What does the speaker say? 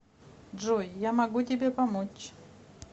джой я могу тебе помочь